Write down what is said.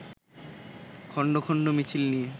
খণ্ড খণ্ড মিছিল নিয়ে